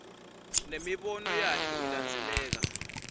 nemibono yakhe ilandzeleka